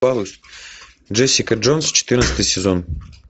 джессика джонс четырнадцатый сезон